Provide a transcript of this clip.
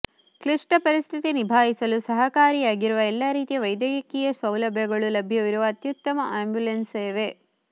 ಕ್ಲಿಷ್ಟ ಪರಿಸ್ಥಿತಿ ನಿಭಾಯಿಸಲು ಸಹಕಾರಿಯಾಗಿರುವ ಎಲ್ಲ ರೀತಿಯ ವೈದ್ಯಕೀಯ ಸೌಲಭ್ಯಗಳು ಲಭ್ಯವಿರುವ ಅತ್ಯುತ್ತಮ ಆ್ಯಂಬುಲೆನ್ಸ್ ಸೇವೆ